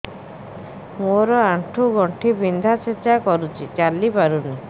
ମୋର ଆଣ୍ଠୁ ଗଣ୍ଠି ବିନ୍ଧା ଛେଚା କରୁଛି ଚାଲି ପାରୁନି